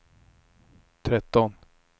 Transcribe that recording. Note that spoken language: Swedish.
tretton